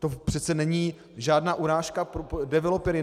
To přece není žádná urážka pro developery.